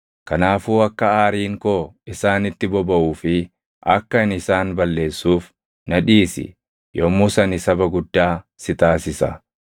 Kanaafuu akka aariin koo isaanitti bobaʼuu fi akka ani isaan balleessuuf na dhiisi. Yommus ani saba guddaa si taasisa.’ ”